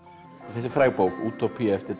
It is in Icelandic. þetta er fræg bók útópía eftir